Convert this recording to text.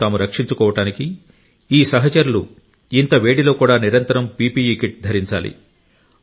తమను తాము రక్షించుకోవడానికి ఈ సహచరులు ఇంత వేడిలో కూడా నిరంతరం పిపిఇ కిట్ ధరించాలి